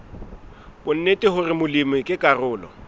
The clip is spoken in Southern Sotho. bonnete hore molemi ke karolo